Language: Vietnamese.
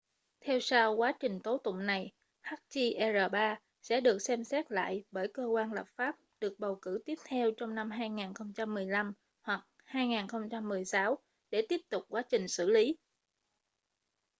theo sau quá trình tố tụng này hjr-3 sẽ được xem xét lại bởi cơ quan lập pháp được bầu cử tiếp theo trong năm 2015 hoặc 2016 để tiếp tục quá trình xử lý